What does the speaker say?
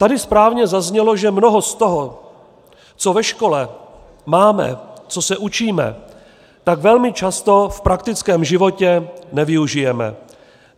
Tady správně zaznělo, že mnoho z toho, co ve škole máme, co se učíme, tak velmi často v praktickém životě nevyužijeme.